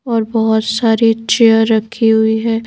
और बहुत सारी चेयर रखी हुई है।